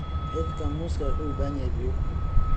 Xididka muusku wuxuu u baahan yahay biyo.